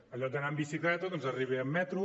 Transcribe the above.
en lloc d’anar amb bicicleta doncs arriba amb metro